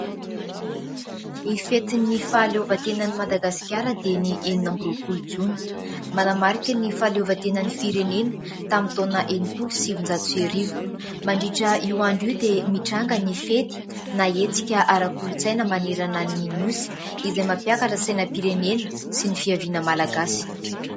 Ny fetin'ny fahalovantenan'i Madagasikara dia ny enina amby roapolo Jona. Manamarika ny fahaleovantenan'ny firenena tamin'ny taona enimpolo sy sivinjato sy arivo. Mandritra io andro io dia mitranga ny fety na hetsika ara-kolontsaina manerana ny Nosy, izay mampiakatra sainam-pirenena sy ny fiaviana Malagasy.